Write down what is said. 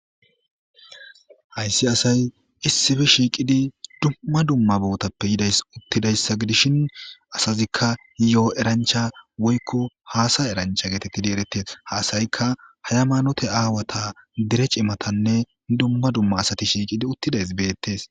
Hayssi asay issife shiiqidi dumma dumma bootappe yidays uttidayssa gidishin asazikka yo'o erancha woykko haasa erancha geetettidi eretes haasayikka haya maanote aawata dere cimatanne dumma dumma asati shiiqidi uttidays beettes.